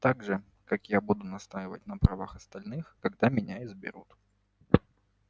так же как я буду настаивать на правах остальных когда меня изберут